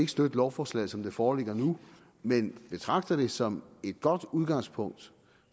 støtte lovforslaget som det foreligger nu men vi betragter det som et godt udgangspunkt